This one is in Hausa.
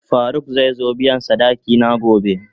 Faruk zai zo biyan sadaki na gobe.